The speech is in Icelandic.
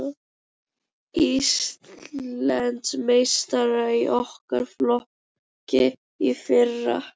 Íslandsmeistarar í okkar flokki í fyrra.